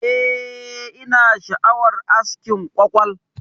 Eh, ina sha'awar askin kwakwal.